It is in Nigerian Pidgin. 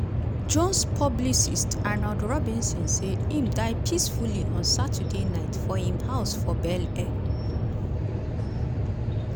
jones publicist arnold robinson say im "die peacefully" on sunday night for im house for bel air.